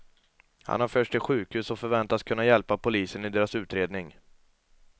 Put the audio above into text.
Han har förts till sjukhus och förväntas kunna hjälpa polisen i deras utredning.